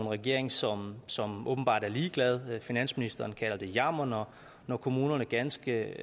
regering som som åbenbart er ligeglad finansministeren kalder det jammer når kommunerne ganske